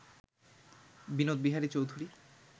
Binod Bihari Chowdhury